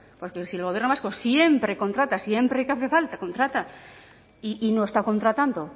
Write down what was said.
porque si el gobierno vasco siempre contrata siempre que hace falta contrata y no está contratando